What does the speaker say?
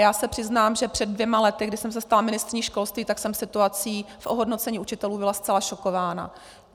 Já se přiznám, že před dvěma lety, kdy jsem se stala ministryní školství, tak jsem situací v ohodnocení učitelů byla zcela šokována.